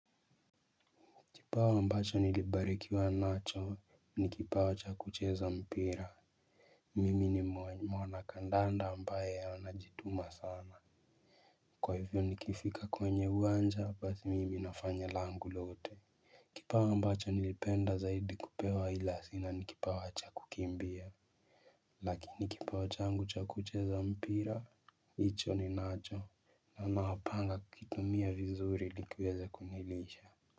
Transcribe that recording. Kipawa ambacho nilibarikiwa nacho ni kipawa cha kucheza mpira. Mimi ni mwanakandanda ambaye anajituma sana. Kwa hivyo nikifika kwenye uwanja basi mimi nafanya langu lote. Kipawa ambacho nilipenda zaidi kupewa ila sina ni kipawa cha kukimbia. Lakini kipawa changu cha kucheza mpira hicho ninacho. Na napanga kuitumia vizuri ili kiweze kunilisha.